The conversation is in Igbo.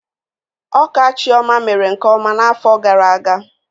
Ọka Chioma mere nkeọma n'afọ gara aga